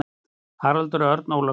Haraldur Örn Ólafsson.